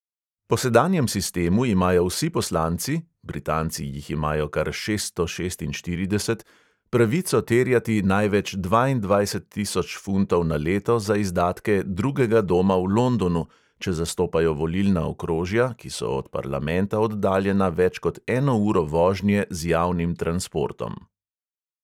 Po sedanjem sistemu imajo vsi poslanci – britanci jih imajo kar šeststo šestinštirideset – pravico terjati največ dvaindvajset tisoč funtov na leto za izdatke "drugega doma" v londonu, če zastopajo volilna okrožja, ki so od parlamenta oddaljena več kot eno uro vožnje z javnim transportom.